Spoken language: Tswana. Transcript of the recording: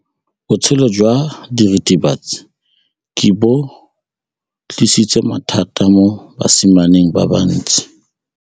Botshelo jwa diritibatsi ke bo tlisitse mathata mo basimaneng ba bantsi.